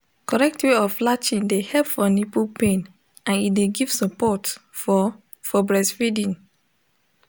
correct way of latching de help for nipple pain and e de give support for for breastfeeding